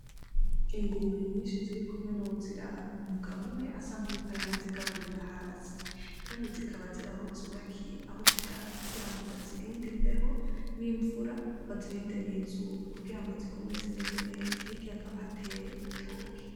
Ingurube nyinshi zirikumwe nuw'uziraba, umugabo umwe asa nk'uwuriko arana zigaburira hasi kandi zikaba ziraho zubakiye aho zirara kugira ngo bazirinde imbeho n'imvura bazirinde n'izuba, kugira zigume zimeze neza, hirya hakaba hatewe ibitoke.